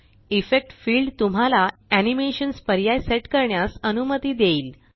effect field तुम्हाला animations पर्याय set करण्यास अनुमती देईल